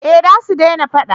eh za su dena fada